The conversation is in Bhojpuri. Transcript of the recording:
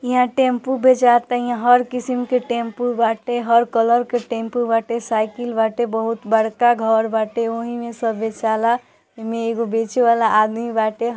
यहा टेंपू बचात यहा हर किशम के टैंपू बाटे हर कलर के टेंपू बाटे साइकल बाटे बहुत बड़का घर बाटे वही में इह मे एगो बेचे वाला आदमी बाटे।